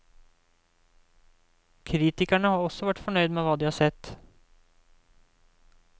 Kritikerne har også vært fornøyd med hva de har sett.